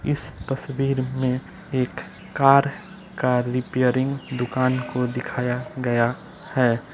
इस तस्वीर में एक कार का रिपेयरिंग दुकान को दिखाया गया है।